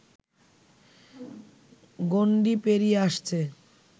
গণ্ডি পেরিয়ে আসছে